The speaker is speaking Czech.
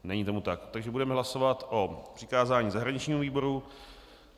Není tomu tak, takže budeme hlasovat o přikázání zahraničnímu výboru.